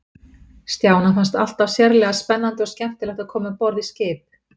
Stjána fannst alltaf sérlega spennandi og skemmtilegt að koma um borð í skip.